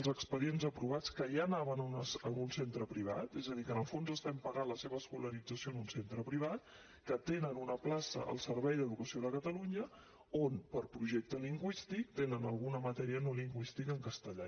els expedients aprovats que ja anaven a un centre privat és a dir que en el fons estem pagant la seva escolarització en un centre privat que tenen una plaça al servei d’educació de catalunya on per projecte lingüístic tenen alguna matèria no lingüística en castellà